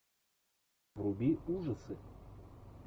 вруби ужасы